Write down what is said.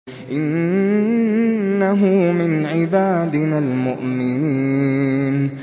إِنَّهُ مِنْ عِبَادِنَا الْمُؤْمِنِينَ